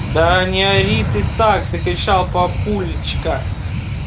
да не ори ты так закричал папулечка